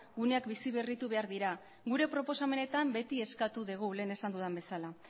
guneak biziberritu behar dira gure proposamenetan beti eskatu dugu lehen esan dudan bezala